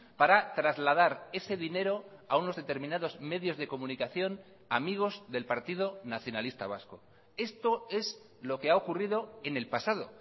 para trasladar ese dinero a unos determinados medios de comunicación amigos del partido nacionalista vasco esto es lo que ha ocurrido en el pasado